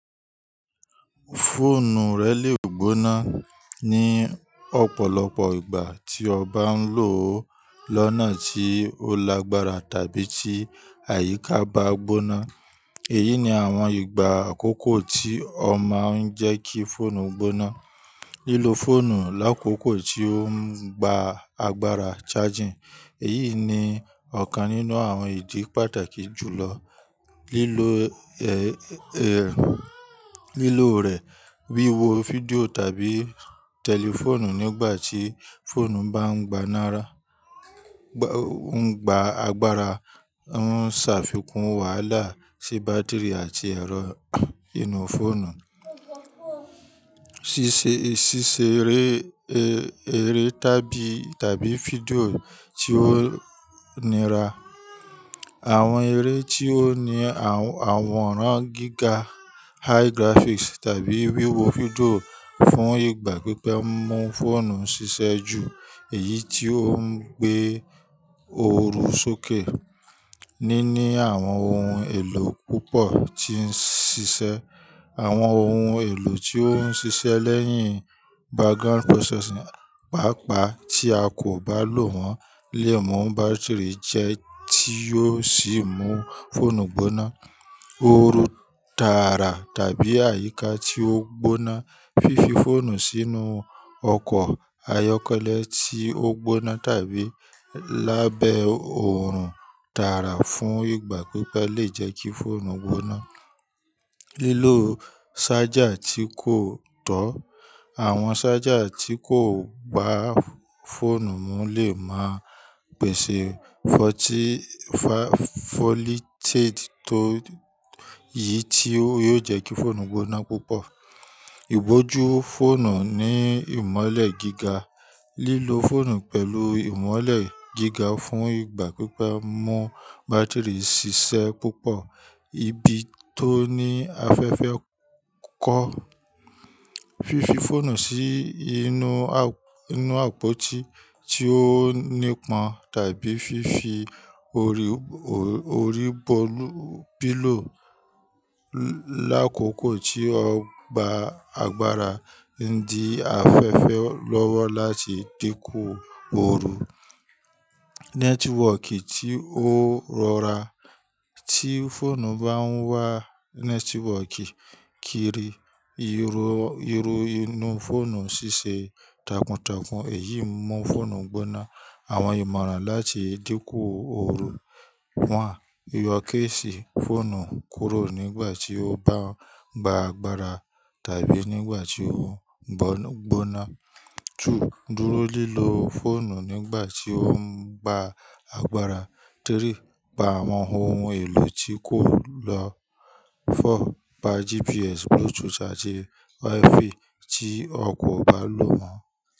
Fóònù rẹ le gbóná ni ọ̀pọ̀lọpọ̀ ìgbà tí o bá ń lò ó lọ́nà tí ó lágbára tàbí tí àyíká bá gbóná. Èyí ni àwọn ìgbà àkọ́kọ́ tí ó máa ń jẹ́ kí fóònù gbóná. Lílo fóònù lákòókò tí ó ń gba agbára charging. Èyí ni ọ̀kan nínú àwọn ìdí pàtàkì jù lọ. Lílo, lílo rẹ̀, wíwo fídíò tàbí tẹlifóònù nígbà tí fóònù bá ń gba nára, gbá, ń gba agbára ń ṣàfikún wàhálà sí bátírì àti ẹ̀rọ inú fóònù. Sísé eré, eré tàbí, tàbí fídíò tí ó nira. Àwọn eré tí ó ní àworàn gíga, high graphics tàbí wíwo fídíò fún ìgbà pípẹ́ mú fóònù ṣiṣẹ́ ju èyí tí ó ń gbé oru sókè. Níní àwọn ohun èlò púpọ̀ tí ń ṣiṣẹ́. Àwọn ohun èlò tí ó ń ṣiṣẹ́ lẹ́yìn background processing, pàápàá tí a kò bá lò wọ́n lè mú bátírì jẹ́ tí ó sì mú fóònù gbóná. Ooru dára tàbí àyíká tí ó gbóná. Fífi fóònù sínú ọkọ̀ ayọ́kẹ́lẹ́ tí ó gbóná tàbí lábẹ́ òòrùn dára fún ìgbà pípẹ́ lè jẹ́ kí fóònù gbóná. Lílo ṣájà tí kò tọ́. Àwọn ṣájà tí kò gba fóònù mú lè máa pèsè voltage tó, yìí tí yóò jẹ́ kí fóònù gbóná púpọ̀. Ibojú fóònù ní ìmọ́lẹ̀ gíga. Lílo fóònù pẹ̀lú ìmọ́lẹ̀ gíga fún ìgbà pípẹ́ mú bátírì ṣiṣẹ́ púpọ̀. Ibi tó ní afẹ́fẹ́ kọ́. Fífi fóònù sí inú, inú àpótí tí ó nípọn tàbí fífi ori orípolu, pílò lákòókò tí ó gba agbára ń di afẹ́fẹ́ lọ́wọ́ láti dínkù oru. Nẹ́tíwọọ̀kì tí ó rọra. Tí fóònù bá ń wá nẹ́tíwọọ̀kì kiri, irọ, irun inú fóònù ṣiṣẹ́ takuntakun, èyí mú fóònù gbóná. Àwọn ìmọ̀ràn láti dínkù oru. One Yọ kéèsì fóònù kúrò nígbà tí ó bá ń gba agbára tàbí nígbà tí ó gbóná. Two dúró lílọ fóònù nígbà tí ó ń gba agbára. Three Pa àwọn ohun èlò tí kò lọ. Four Pa GPS, Bluetooth àti Wi-Fi tí o kò bá lò mo.